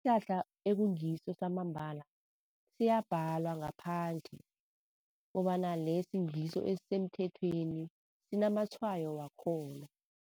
Isihlahla ekungiso samambala siyabhalwa ngaphandle kobana lesi ngiso esemthethweni sinamatshwayo wakhona.